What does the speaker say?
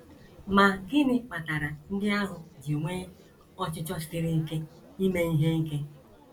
Ma gịnị kpatara ndị ahụ ji nwee ọchịchọ siri ike ime ihe ike?